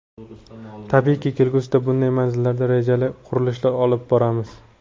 Tabiiyki, kelgusida bunday manzillarda rejali qurilishlar olib boramiz.